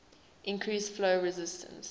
increase flow resistance